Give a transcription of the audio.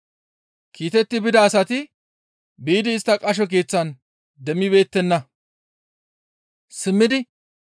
Kiitetti bida asati biidi istta qasho keeththan demmibeettenna; simmidi,